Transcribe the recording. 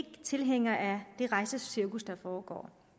tilhængere af det rejsecirkus der foregår